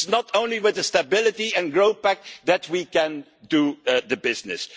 It is not only with the Stability and Growth Pact that we can do the business.